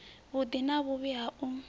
vhuḓi na vhuvhi ha u